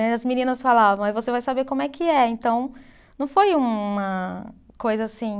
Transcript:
E as meninas falavam, aí você vai saber como é que é. Então, não foi uma coisa assim...